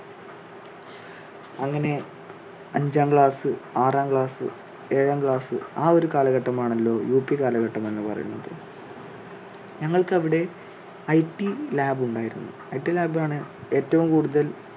അങ്ങനെ അഞ്ചാം class ആറാം class ഏഴാം class ആ ഒരു കാലഘട്ടം ആണല്ലോ യു പി കാലഘട്ടം എന്നു പറയുന്നത്. ഞങ്ങൾക്ക് അവിടെ it lab ുണ്ടായിരുന്നു. it lab ാണ് ഏറ്റവും കൂടുതൽ,